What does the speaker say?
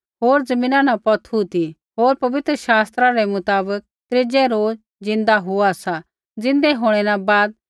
होर ज़मीना न पौथू ती होर पवित्र शास्त्रा रै मुताबक त्रीज़ै रोज ज़िन्दा हुआ सा